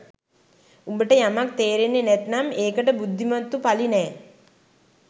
උඹට යමක් තේරෙන්නේ නැත්නම් ඒකට බුද්ධිමත්තු පළි නෑ